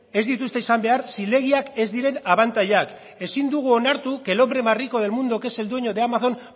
ez dituzte izan behar zilegiak ez diren abantailak ezin dugu onartu que el hombre más rico del mundo que es el dueño de amazon